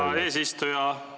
Aitäh, hea eesistuja!